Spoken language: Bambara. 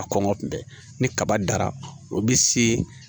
A kɔngɔ kun tɛ ni kaba dara o bɛ se